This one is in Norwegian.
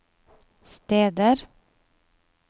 steder